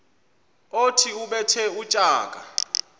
othi ubethe utshaka